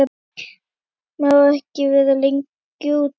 mátt ekki vera lengi úti.